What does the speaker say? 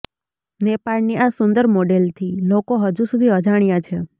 નેપાળની આ સુંદર મોડલથી લોકો હજુ સુધી અજાણ્યા છે